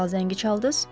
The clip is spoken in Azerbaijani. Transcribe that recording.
Dərhal zəngi çaldız?